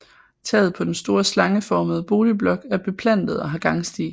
Taget på den store slangeformede boligblok er beplantet og har gangsti